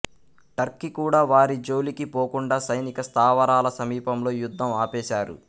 Turkey కూడా వారి జోలికి పోకుండా సైనిక స్థావరాల సమీపంలో యుద్ధం ఆపేశారు